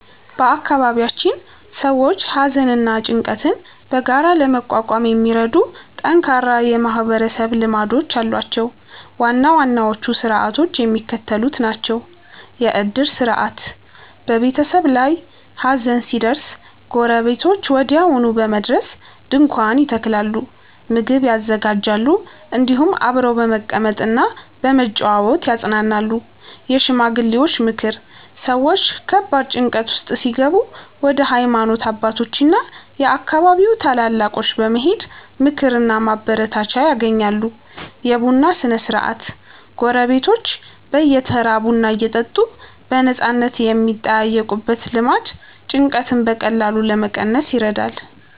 በአካባቢያችን ሰዎች ሐዘንና ጭንቀትን በጋራ ለመቋቋም የሚረዱ ጠንካራ የማህበረሰብ ልማዶች አሏቸው። ዋና ዋናዎቹ ሥርዓቶች የሚከተሉት ናቸው፦ የዕድር ሥርዓት፦ በቤተሰብ ላይ ሐዘን ሲደርስ ጎረቤቶች ወዲያውኑ በመድረስ ድንኳን ይተክላሉ፣ ምግብ ያዘጋጃሉ፤ እንዲሁም አብረው በመቀመጥና በመጨዋወት ያጽናናሉ። የሽማግሌዎች ምክር፦ ሰዎች ከባድ ጭንቀት ውስጥ ሲገቡ ወደ ሃይማኖት አባቶችና የአካባቢው ታላላቆች በመሄድ ምክርና ማበረታቻ ያገኛሉ። የቡና ሥነ-ሥርዓት፦ ጎረቤቶች በየተራ ቡና እየጠሩ በነፃነት የሚጠያየቁበት ልማድ ጭንቀትን በቀላሉ ለመቀነስ ይረዳል።